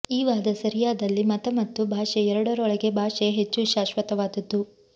ಈ ವಾದ ಸರಿಯಾದಲ್ಲಿ ಮತ ಮತ್ತು ಭಾಷೆ ಎರಡರೊಳಗೆ ಭಾಷೆ ಹೆಚ್ಚು ಶಾಶ್ವತವಾದದ್ದು